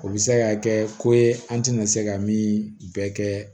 O bɛ se ka kɛ ko ye an tɛna se ka min bɛɛ kɛ